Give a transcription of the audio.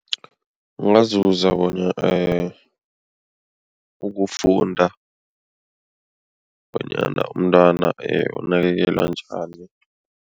Ungazuza ukufunda bonyana umntwana unakekelwa njani.